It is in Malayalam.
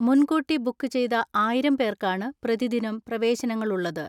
മുൻകൂട്ടി ബുക്ക് ചെയ്ത ആയിരം പേർക്കാണ് പ്രതിദിനം പ്രവേശനങ്ങളുള്ളത്.